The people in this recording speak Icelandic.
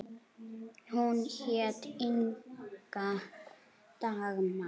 Hún hét Inga Dagmar.